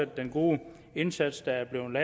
den gode indsats der er blevet